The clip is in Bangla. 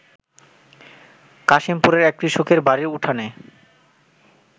কাশিমপুরের এক কৃষকের বাড়ির উঠানে